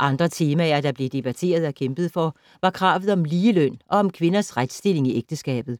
Andre temaer, der blev debatteret og kæmpet for, var kravet om ligeløn og om kvindens retstilling i ægteskabet.